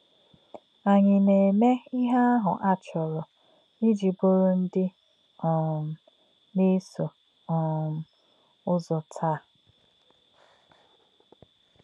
Ànyí̄ nā̄-èmè̄ íhè̄ āhū̄ ā̄ chọ̄rọ̀ íjì̄ bụ̀rù̄ ndí̄ um nā̄-èsò̄ um ṹzò̄ tàá̄?